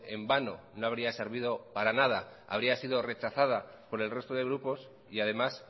en vano no habría servido para nada habría sido rechazada por el resto de grupos y además